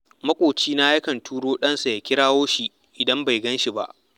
Maƙocinsa yakan turo ɗansa ya kirawo shi idan bai gan shi ba